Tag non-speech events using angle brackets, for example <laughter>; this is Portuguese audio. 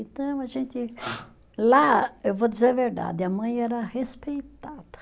Então, a gente, <unintelligible> lá, eu vou dizer a verdade, a mãe era respeitada.